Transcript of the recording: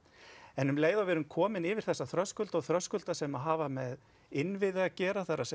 en um leið og við erum komin yfir þessa þröskulda og þröskulda sem hafa með innviði að gera það er